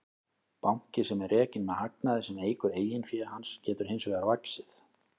Banki sem er rekinn með hagnaði sem eykur eigin fé hans getur hins vegar vaxið.